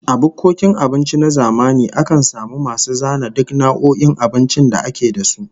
A bukkokin abinci na zamani akan samu masu zana duk nau'o'in abincin da ake da su